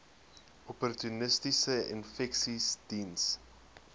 opportunistiese infeksies diens